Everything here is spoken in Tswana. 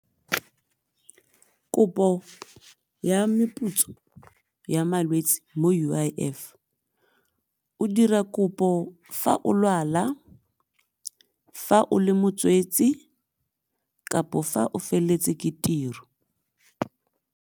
Kopo ya meputso ya malwetsi mo U_I_F, o dira kopo fa o lwala, fa o le motswetsi kapo fa o feleletse ke tiro.